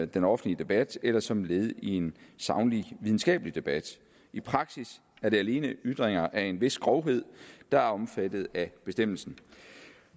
den offentlige debat eller som led i en saglig videnskabelig debat i praksis er det alene ytringer af en vis grovhed der er omfattet af bestemmelsen